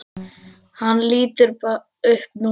Hann lítur upp núna.